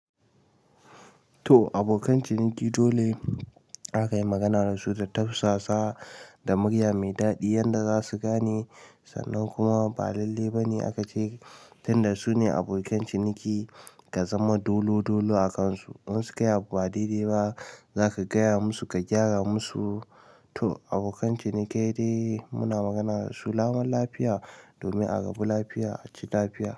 To abokan ciniki dole aka yi magana da su da tausasa da murya mai daɗi yanda za su gane sannan kuma ba lalle ba ne aka ce tun da su ne abokan ciniki ka zama dolodolo a kansu. In su kai abu ba daidai ba za ka gaya musu ka gyara musu. To abokan ciniki dai muna magana da su lamun lafiya domin a rabu lafiya a ci lafiya.